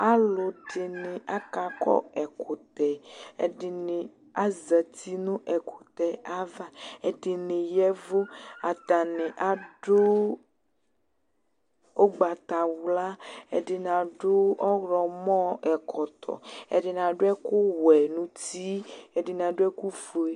Alʋ ɛdini akakɔ ɛkʋtɛ Ɛdini azati nʋ ɛkʋtɛ yɛ ava, ɛdini yɛvʋ Atani adʋ ʋgbatawla Ɛdini adʋ ɔwlɔmɔ ɛkɔtɔ Ɛdini adʋ ɛkʋ wɛ nʋ uti Ɛdini adʋ ɛkʋ fue